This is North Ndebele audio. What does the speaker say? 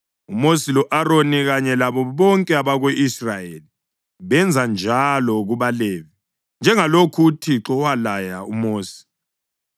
UMosi lo-Aroni kanye labo bonke abako-Israyeli benza njalo kubaLevi njengalokhu uThixo walaya uMosi.